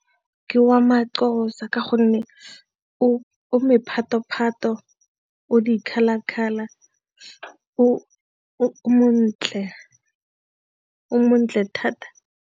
Ke wa ma-Xhosa ka gonne o mephato-phato, o di-colour-colour o montle thata.